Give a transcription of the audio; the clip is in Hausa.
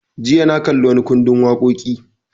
Jiya na kalli wani ƙundin waƙoƙi